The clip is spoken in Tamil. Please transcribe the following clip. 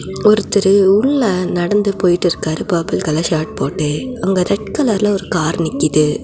ஒருத்தரு உள்ள நடந்து போயிட்டு இருக்காரு பர்பிள் கலர் ஷர்ட் போட்டு அங்க ரெட் கலர்ல ஒரு கார் நிக்கிது.